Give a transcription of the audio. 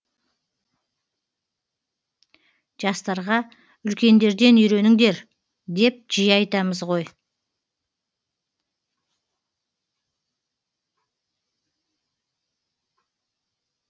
жастарға үлкендерден үйреніңдер деп жиі айтамыз ғой